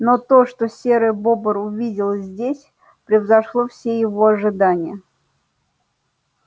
но то что серый бобр увидел здесь превзошло все его ожидания